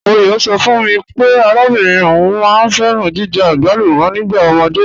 M̀ọyọ̣ sọ̀ fún mí pé àràbìnrin ọún máá n fẹ̀ràn jìjẹ̀ agbàlùmọ̀ nígbà omódé.